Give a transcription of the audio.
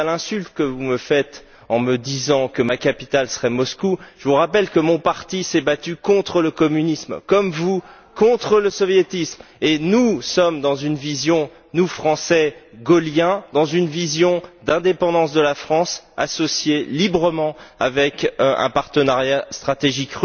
Quant à l'insulte que vous me faites en disant que ma capitale serait Moscou, je vous rappelle que mon parti s'est battu contre le communisme, comme vous, contre le soviétisme, et que nous sommes dans une vision, nous Français gaulliens, d'indépendance de la France associée librement à la Russie dans le cadre d'un partenariat stratégique,